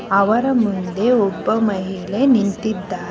ಅವರ ಮುಂದೆ ಒಬ್ಬ ಮಹಿಳೆ ನಿಂತಿದ್ದಾ--